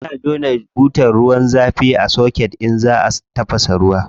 Ana jona butar ruwan zafi a soket idan za a tafasa ruwa.